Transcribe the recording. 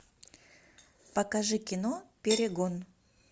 покажи кино перегон